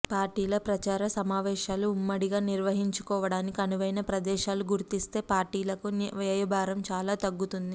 పార్టీల ప్రచార సమావేశాలు ఉమ్మడిగా నిర్వహించుకోవడానికి అనువైన ప్రదేశాలు గుర్తిస్తే పార్టీలకు వ్యయ భారం చాలా తగ్గుతుంది